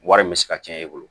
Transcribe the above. Wari min bɛ se ka cɛn e bolo